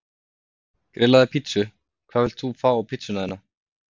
Grillaði pizzu Hvað vilt þú fá á pizzuna þína?